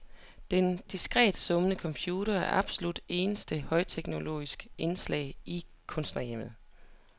Den diskret summende computer er det absolut eneste højteknologiske indslag i kunstnerhjemmet.